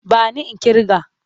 Ba ni in ƙirga!